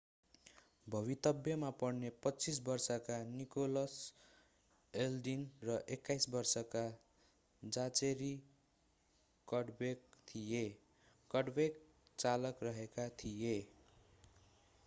भवितव्यमा पर्ने 25 वर्षका Nicholas Alden र 21 वर्षका जाचेरी कडब्यक थिए कडब्याक चालक रहेका थिए